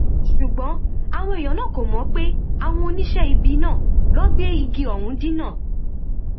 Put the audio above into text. ṣùgbọn àwọn èèyàn náà kò mọ pé àwọn oníṣẹ ibi náà ló gbé igi ọhún dínà